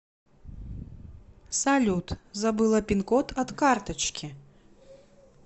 салют забыла пинкод от карточки